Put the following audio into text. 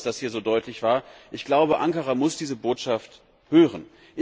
Ich bin froh, dass das hier so deutlich war. Ankara muss diese Botschaft hören.